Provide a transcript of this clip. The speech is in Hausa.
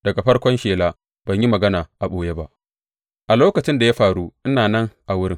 Daga farkon shela ban yi magana a ɓoye ba; a lokacin da ya faru, ina nan a wurin.